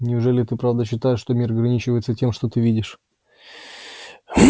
неужели ты правда считаешь что мир ограничивается тем что ты видишь